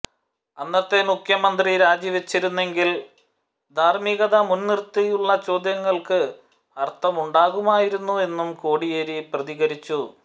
അന്നത്തെ മുഖ്യമന്ത്രി രാജിവച്ചിരുന്നെങ്കിൽ ധാര്മ്മികത മുൻനിര്ത്തിയുള്ള ചോദ്യങ്ങൾക്ക് അര്ത്ഥമുണ്ടാകുമായിരുന്നു എന്നും കോടിയേരി പ്രതികരിച്ചു